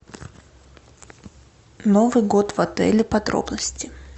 новый год в отеле подробности